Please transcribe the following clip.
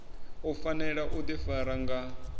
u fanela u ḓifara nga